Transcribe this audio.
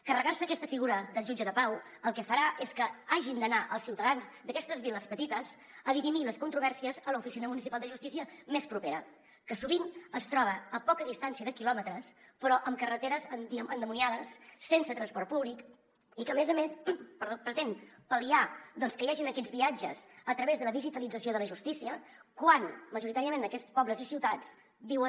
carregar se aquesta figura del jutge de pau el que farà és que hagin d’anar els ciutadans d’aquestes viles petites a dirimir les controvèrsies a l’oficina municipal de justícia més propera que sovint es troba a poca distància de quilòmetres però per carreteres endimoniades sense transport públic i que a més a més pretén pal·liar que hi hagin aquests viatges a través de la digitalització de la justícia quan majoritàriament en aquests pobles i ciutats viuen